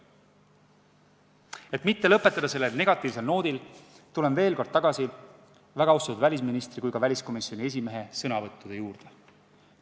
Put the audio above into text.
Et mitte lõpetada negatiivse noodiga, tulen veel kord tagasi väga austatud välisministri ja ka väliskomisjoni esimehe sõnavõttude juurde.